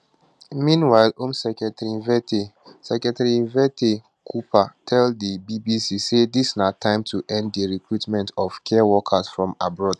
meanwhile home secretary yvette secretary yvette cooper tell di bbc say dis na time to end di recruitment of care workers from abroad